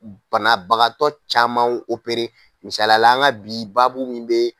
Banabagatɔ caman opere misaliyala an ka bi baabu min bɛ